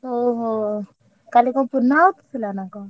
ଓହୋ! କାଲି କଣ ପୂର୍ଣ୍ଣାହୁତି ଥିଲା ନା କଣ?